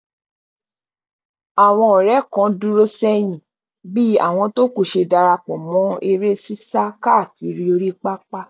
àwọn ọrẹ kan dúró sẹyìn bí àwọn tó kù ṣe darapọ mọ eré sísá káàkiri orí pápá